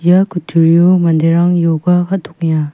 ia kutturio manderang ioga kal·tokenga.